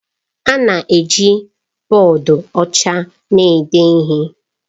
A na-eji bọọdụ ọcha na-ede ihe